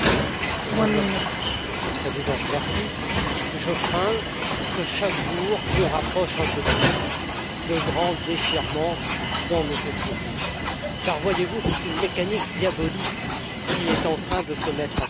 Madame la Présidente, je crains que chaque jour nous rapproche un peu plus de grands déchirements dans nos sociétés car, voyez vous, c'est une mécanique diabolique qui est en train de se mettre en place.